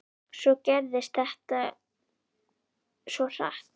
Svo gerðist þetta svo hratt.